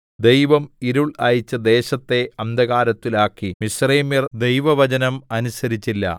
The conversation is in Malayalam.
ദൈവം ഇരുൾ അയച്ച് ദേശത്തെ അന്ധകാരത്തിലാക്കി മിസ്രയീമ്യര്‍ ദൈവവചനം അനുസരിച്ചില്ല